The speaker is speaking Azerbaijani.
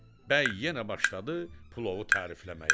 Bəy yenə başladı plovu tərifləməyə.